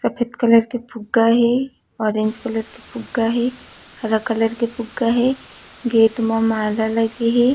सफ़ेद कलर के फुग्गा हे ऑरेंज कलर के फुग्गा हे हरा कलर के फुग्गा हे गेट मा माला लगे हे।